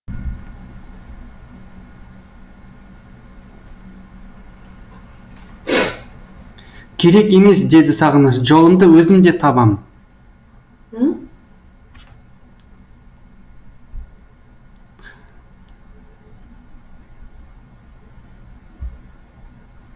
керек емес деді сағыныш жолымды өзім де табам